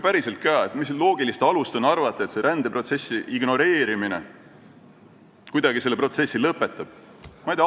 Päriselt ka, mis loogilist alust on arvata, et rändeprotsessi ignoreerimine kuidagi selle protsessi lõpetab?